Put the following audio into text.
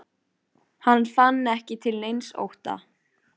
Veit fólkið hér spurði hann, hvað hann hefur gert?